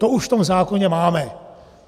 To už v tom zákoně máme.